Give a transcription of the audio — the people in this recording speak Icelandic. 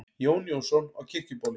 Jón Jónsson á Kirkjubóli